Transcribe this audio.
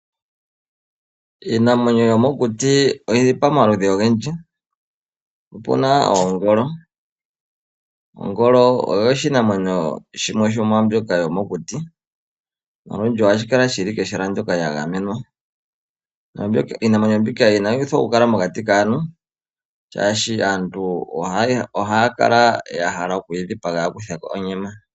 Iinamwenyo yomokuti oyili pamaludhi ogendji, opuna oongolo. Ongolo oyo shimwe shomiinamwenyo mbyoka yomokuti, moNamibia ohashi kala shi li kehala ndyoka lya gamenwa. Iinamwenyo mbika inayi pitikwa oku kala mokati kaantu, oshoka ohaya kala ya hala okudhipaga iinimwenyo mbika opo ya mone onyama.